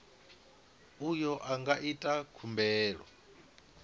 uyo a nga ita khumbelo